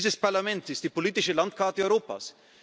Dieses Parlament ist die politische Landkarte Europas.